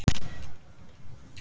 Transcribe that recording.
Þær systur hlæja.